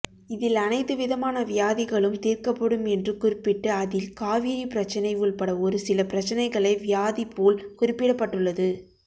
இதில் அனைத்து விதமான வியாதிகளும் தீர்க்கப்படும் என்று குறிப்பிட்டு அதில் காவிரி பிரச்சனை உள்பட ஒருசில பிரச்சனைகளை வியாதிபோல் குறிப்பிடப்பட்டுள்ளது